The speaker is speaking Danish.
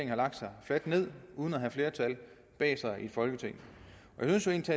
har lagt sig fladt ned uden at have flertal bag sig i folketinget jeg synes